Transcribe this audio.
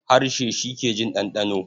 Harshe shi ke jin ɗanɗano.